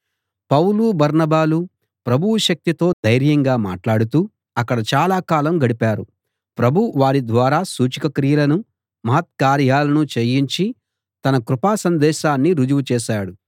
పౌలు బర్నబాలు ప్రభువు శక్తితో ధైర్యంగా మాటలాడుతూ అక్కడ చాలా కాలం గడిపారు ప్రభువు వారిద్వారా సూచకక్రియలనూ మహత్కార్యాలనూ చేయించి తన కృపా సందేశాన్ని రుజువు చేశాడు